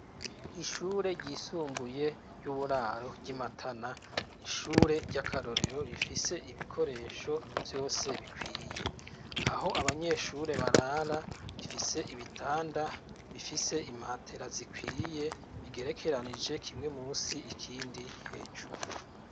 Ishure ryisumbuye ry'uburaro ry'imatana n'ishure ry'akarorero rifise ibikoresho vyose bikwiye, aho abanyeshure barara rifise ibitanda bifise imatera zikwiye bigerekeranije kimwe munsi ikindi hejuru.